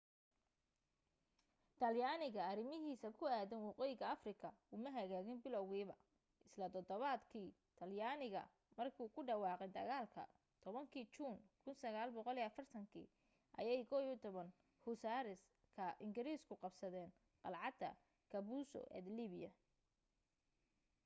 talyaaniga arrimahiisa ku aaddan waqooyiga afrika uma hagaagin bilowgiiba isla todobaadkii talyaaniga ku dhawaqay dagaalka 10-kii juun 1940 ayay 11th hussars ka ingiriisku qabsadeen qalcadda capuzzo ee liibiya